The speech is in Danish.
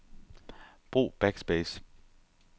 Brug backspace.